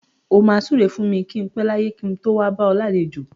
O máa súre fún mi kí n pẹ láyé kí n tó wá bá ọ lálejò.